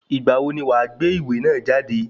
Ìgbà wo ni wọ́n gbé ìwé náà jáde?